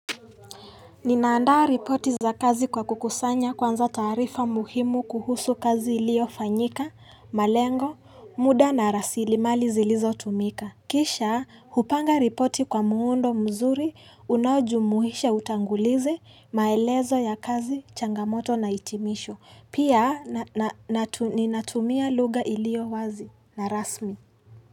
Ninaandaa ripoti za kazi kwa kukusanya kwanza taarifa muhimu kuhusu kazi iliyofanyika, malengo, muda na rasilimali zilizo tumika. Kishaa, hupanga ripoti kwa muundo mzuri, unaujumuhisha utangulizi, maelezo ya kazi, changamoto na itimisho. Pia, ninatumia lugha iliyo wazi na rasmi.